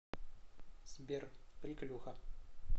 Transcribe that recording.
сбер приколюха